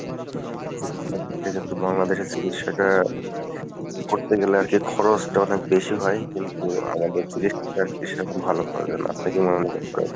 চিকিৎসা ক্ষেত্রে কিন্তু বাংলাদেশের চিকিৎসাটা করতে গেলে আরকি খরচটা অনেক বেশি হয় কিন্তু আমাদের চিকিৎসা সেরকম ভালো করে না। আপনি কী আপনি কী মনে হয়?